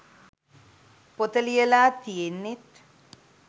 පොත ලියලා තියෙන්නෙත්